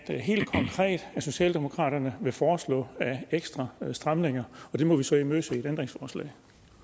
det helt konkret socialdemokraterne vil foreslå af ekstra stramninger og der må vi så imødese et ændringsforslag